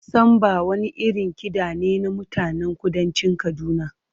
Samba wani irin kiɗa ne na mutanen kudancin Kaduna.